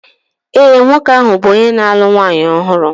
ee, nwoke ahụ bụ onye na-alụ nwanyị ọhụrụ